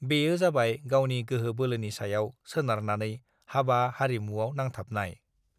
बेयो जाबाय गावनि गोहो बोलोनि सायाव सोनारनानै हाबा हारिमु आव नांथाबनाय